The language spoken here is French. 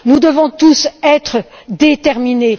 Nous devons tous être déterminés.